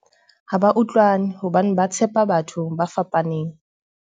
ha ba utlwane hobane ba tshepa batho ba fapaneng